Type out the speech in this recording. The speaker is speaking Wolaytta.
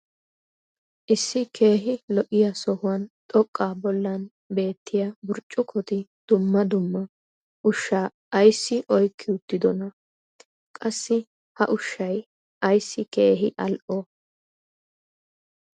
issi keehi lo'iya sohuwan xoqqaa bollan beettiya burccukkoti dumma dumma ushshaa ayssi oykki uttidonaa? qassi ha ushshay ayssi keehi al'oo?